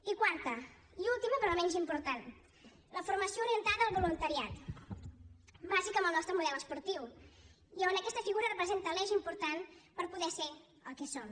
i quarta i última però no menys important la formació orientada al voluntariat bàsica en el nostre model esportiu i on aquesta figura representa l’eix important per poder ser el que som